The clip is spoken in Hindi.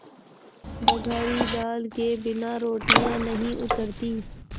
बघारी दाल के बिना रोटियाँ नहीं उतरतीं